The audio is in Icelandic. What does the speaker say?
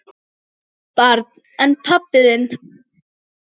Barn: En pabbi þinn?